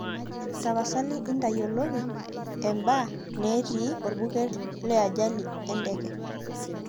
tapasali intayioloki eba netii olbuket le ajali ee ndege